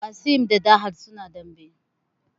Qassim da Dalhat suna dambe